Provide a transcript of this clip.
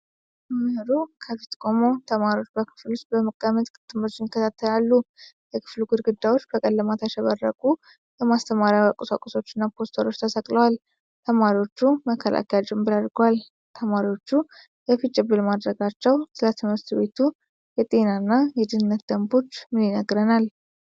መምህሩ ከፊት ቆሞ ተማሪዎች በክፍል ውስጥ በመቀመጥ ትምህርቱን ይከታተላሉ። የክፍሉ ግድግዳዎች በቀለማት ያሸበረቁ የማስተማሪያ ቁሳቁሶች እና ፖስተሮች ተሰቅለዋል። ተማሪዎቹ መከላከያ ጭምብል አድርገዋል። ተማሪዎች የፊት ጭንብል ማድረጋቸው ስለ ትምህርት ቤቱ የጤና እና የደህንነት ደንቦች ምን ይነግረናል?